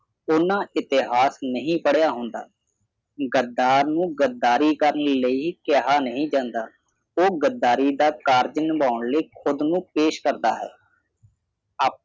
ਉਹਨਾਂ ਇਤਿਹਾਸ ਨਹੀਂ ਪੜ੍ਹਿਆ ਹੁੰਦਾ। ਗੱਦਾਰ ਨੂੰ ਗਦਾਰੀ ਕਰਨ ਲਈ ਕਿਹਾ ਨਹੀਂ ਜਾਂਦਾ ਉਹ ਗੱਦਾਰੀ ਦਾ ਕਰਜ ਨਿਭਾਉਣ ਲਈ ਖੁਦ ਨੂੰ ਪੇਸ਼ ਕਰਦਾ ਹੈ। ਆਪ